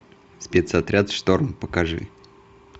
спецотряд шторм покажи